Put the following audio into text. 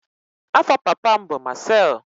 Afa papa m bu Marcel.